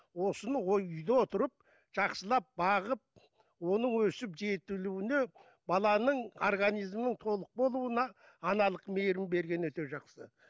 осыны үйде отырып жақсылап бағып оның өсіп жетілуіне баланың организмінің толық болуына аналық мейірім бергені өте жақсы